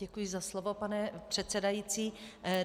Děkuji za slovo, pane předsedající.